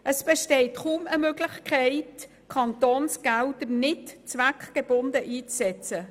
Es besteht kaum eine Möglichkeit, Kantonsgelder nicht zweckgebunden einzusetzen.